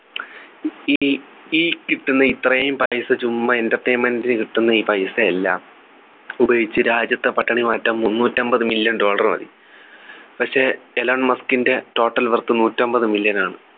ഈ ഈ കിട്ടുന്ന ഇത്രയും പൈസ ചുമ്മാ entertainment നു കിട്ടുന്ന ഈ പൈസ എല്ലാം ഉപയോഗിച്ച് രാജ്യത്തെ പട്ടിണി മാറ്റാൻ മുന്നൂറ്റമ്പത് million dollar മതി പക്ഷെ എലൻ മസ്കിൻ്റെ total worth നൂറ്റമ്പത് million ആണ്